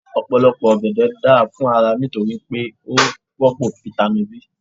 Ọ̀pọ̀lọpọ̀ ọ̀gẹ̀dẹ̀ da fún ara nítorí pé ó rọ́pò fitami B.